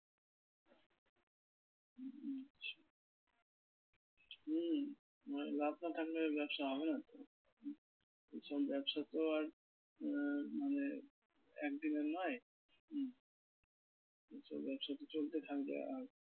হুম মানে লাভ না থাকলে ব্যবসা হবে না তো। এইসব ব্যবসা তো আর আহ মানে একদিন এর নয় এসব ব্যবসা তো চলতে থাকবে আর